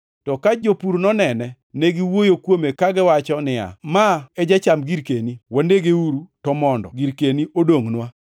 “To ka jopur nonene, ne giwuoyo kuome kagiwacho ni, ‘Ma e jacham girkeni. Wanegeuru, to mondo girkeni odongʼnwa!’